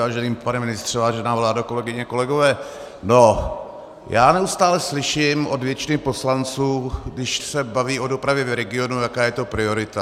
Vážený pane ministře, vážená vládo, kolegyně, kolegové, no, já neustále slyším od většiny poslanců, když se baví o dopravě v regionu, jaká je to priorita.